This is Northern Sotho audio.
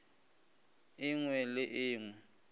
e ngwe le e ngwe